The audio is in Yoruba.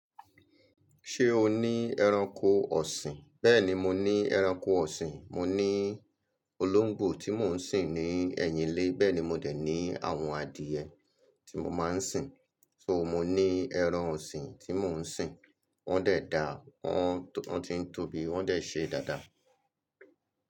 Ṣé o ní ẹranko ọ̀sìn? Bẹ́ẹ̀ni, mo ní ẹranko ọ̀sìn. Mo ní olóńgbò tí mò ń sìn ní ẹ̀yìn ilé, bẹ́ẹ̀ ni mo dè ní àwọn adìye tí mo máa ń sìn. Nitorina mo ní ẹran ọ̀sìn tí mò ń sìn. Wọ́n dẹ̀ da, wọ́n ti ń tóbi, wọ́n dẹ̀ ṣe dáadáa.